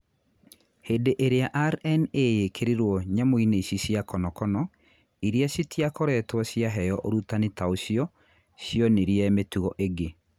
Hindi iria RNA yikirirwo nyamu-ini ici cia konokono iria citiakoritwo ciaheo urutani ta ucio, cionirie mitugo ingi